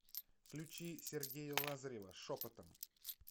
включи сергея лазарева шепотом